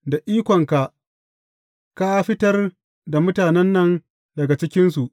Da ikonka ka fitar da mutanen nan daga cikinsu.